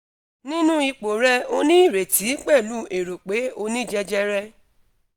ninu ipo re o ni ireti pelu ero pe oni jejere